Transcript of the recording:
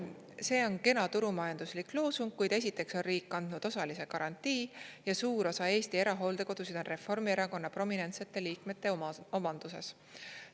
"See on kena turumajanduslik loosung, kuid esiteks on riik andnud osalise garantii ja suur osa Eesti erahooldekodusid on Reformierakonna prominentsete liikmete omanduses.